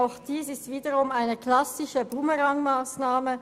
Auch dies ist wiederum eine klassische «Bumerang-Massnahme».